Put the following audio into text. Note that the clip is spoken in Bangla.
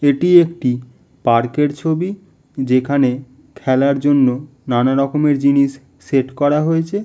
এটি একটি পার্ক -এর ছবি। যেখানে খেলার জন্য নানা রকমের জিনিস সেট করা হয়েছে।